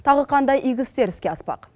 тағы қандай игі істер іске аспақ